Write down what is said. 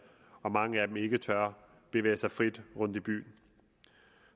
og at mange af dem ikke tør bevæge sig frit rundt i byen